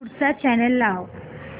पुढचा चॅनल लाव